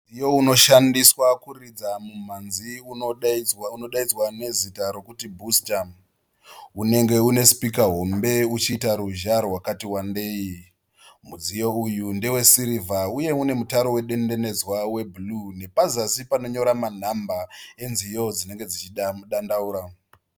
Mudziyo unoshandiswa kuridza mhimhanzi unodaidzwa nezita rekuti bhusita unenge une sipika hombe uchiita ruzha rwakati wandeyi. Mudziyo uyu ndewe sirivha uye une mutaro wedendenedzwa webhuruu nepazasi panonyora manhamba enziyo dzinenge dzichidandaura.